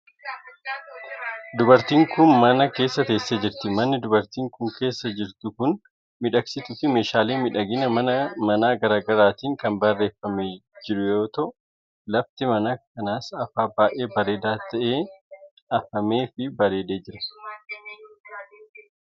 Dubartiin kun, mana keessa teessee jirti. Manni dubartiin kun, keessa jirtu kun, midhaagsitu fi meeshaalee miidhagina manaa garaa garaatin kan bareeffamee jiru yoo ta'u, lafti mana kanaas afaa baay'ee bareedaa ta'een afamee fi bareedee jira.